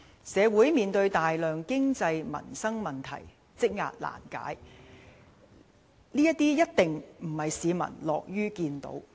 社會面對大量經濟民生問題，積壓難解，這些一定並非市民所樂見的。